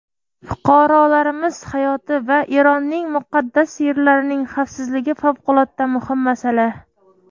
Fuqarolarimiz hayoti va Eronning muqaddas yerlarining xavfsizligi favqulodda muhim masala.